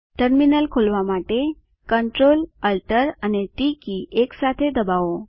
terminal ખોલવા માટે CTRLALTT એકસાથે ડબાઓ